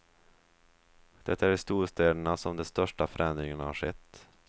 Det är i storstäderna som de största förändringarna har skett.